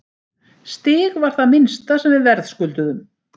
Stig var það minnsta sem við verðskulduðum.